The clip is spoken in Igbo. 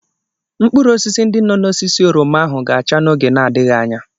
Mkpụrụ osisi ndi nọ n'osisi oroma ahụ ga-acha n'oge na-adịghị anya.